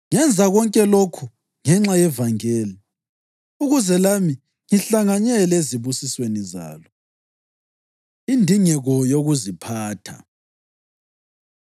Ngenza konke lokhu ngenxa yevangeli, ukuze lami ngihlanganyele ezibusisweni zalo. Indingeko Yokuziphatha